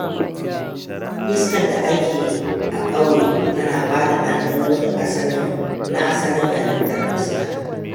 Iskar da ake a ƙauye tana bada ɗanɗano na asalin halittar iska.